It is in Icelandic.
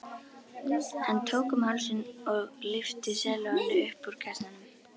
Hann tók um hálsinn og lyfti sellóinu upp úr kassanum.